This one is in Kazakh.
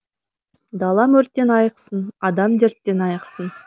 далам өрттен айықсын адам дерттен айықсын